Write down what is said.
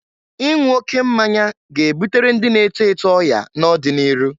Ịnwụ oke mmanya ga-ebutere ndị na-eto eto ọya n'ọdị n'iru.